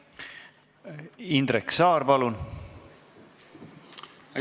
Indrek Saar, palun!